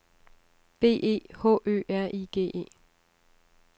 B E H Ø R I G E